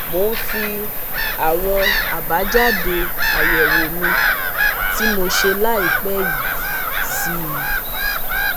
Mo ń fi àwọn abajade ayewo mi tí mo ṣe ĺàìpẹ́ yìí sí i